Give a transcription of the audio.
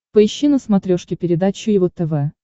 поищи на смотрешке передачу его тв